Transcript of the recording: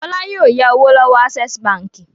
Fọlá yóò ya owó lọ́wọ́ Access Báńkì.